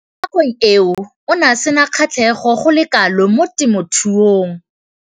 Mo nakong eo o ne a sena kgatlhego go le kalo mo temothuong.